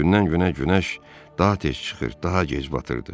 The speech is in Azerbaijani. Gündən-günə günəş daha tez çıxır, daha gec batırdı.